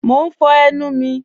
Mọ̀ n fọ̀ ẹnu mi